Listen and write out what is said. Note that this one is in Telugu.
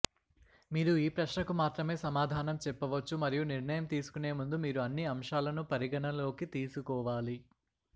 మీరు ఈ ప్రశ్నకు మాత్రమే సమాధానం చెప్పవచ్చు మరియు నిర్ణయం తీసుకునే ముందు మీరు అన్ని అంశాలను పరిగణనలోకి తీసుకోవాలి